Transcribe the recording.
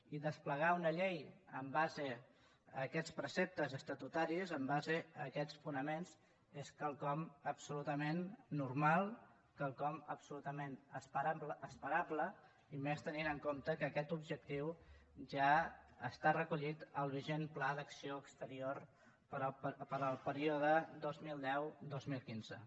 i desplegar una llei en base a aquests preceptes estatutaris en base a aquests fonaments és quelcom absolutament normal quelcom absolutament esperable i més tenint en compte que aquest objectiu ja està recollit al vigent pla d’acció exterior per al període dos mil deu dos mil quinze